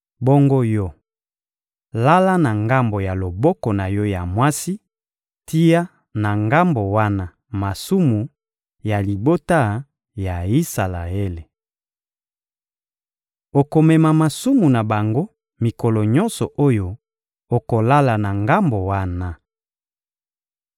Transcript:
Bongo yo, lala na ngambo ya loboko na yo ya mwasi, tia na ngambo wana masumu ya libota ya Isalaele. Okomema masumu na bango mikolo nyonso oyo okolala na ngambo wana.